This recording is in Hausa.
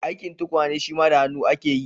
Aikin tukwane shima da hannu ake yi.